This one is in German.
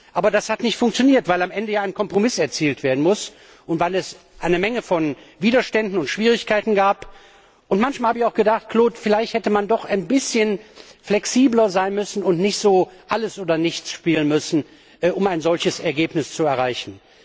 Aber das hat nicht funktioniert, weil am Ende ein Kompromiss erzielt werden muss und weil es eine Menge von Widerständen und Schwierigkeiten gab. Manchmal habe ich auch gedacht, Claude, vielleicht hätte man doch ein bisschen flexibler sein müssen und nicht so Alles oder Nichts spielen dürfen, um ein solches Ergebnis zu erreichen.